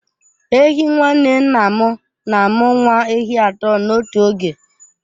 Ehi nwanne nna m na-amụ nwa ehi atọ n'otu oge.